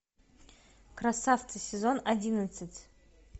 красавцы сезон одиннадцать